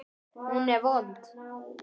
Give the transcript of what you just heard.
Hún er vond.